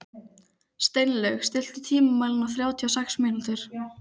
Steinlaug, stilltu tímamælinn á þrjátíu og sex mínútur.